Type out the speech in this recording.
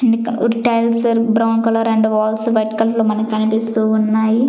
And ఇక్కడ wood tiles brown colour and walls white colour లో మనకి కనిపిస్తూ ఉన్నాయి.